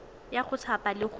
ya go thapa le go